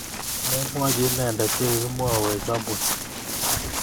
Memwochi inendet che kikimwoiwech amut